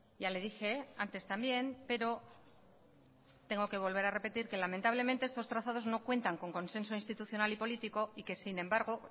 ya le dije antes también pero tengo que volver a repetir que lamentablemente estos trazados no cuentan con consenso institucional y político y